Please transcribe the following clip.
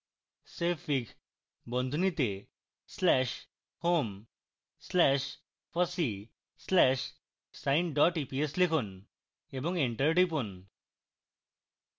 savefig slash home slash fossee slash sine eps লিখুন এবং enter টিপুন